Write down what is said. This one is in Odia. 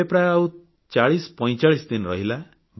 ଏବେ ପ୍ରାୟ ଆଉ 4045 ଦିନ ରହିଲା